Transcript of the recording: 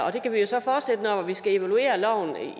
og det kan vi jo så fortsætte med når vi skal evaluere loven